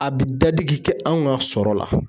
A bi dadigi kɛ anw ka sɔrɔ la .